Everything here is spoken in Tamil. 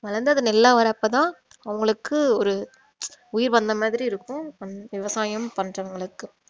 வளர்ந்து அது நெல்லா வர்றப்ப தான் அவங்களுக்கு ஒரு உயிர் வந்த மாதிரி இருக்கும் விவசாயம் பண்றவங்களுக்கு